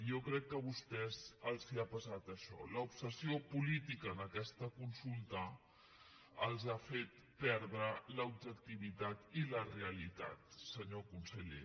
i jo crec que a vostès els ha passat això l’obsessió política en aquesta consulta els ha fet perdre l’objectivitat i la realitat senyor conseller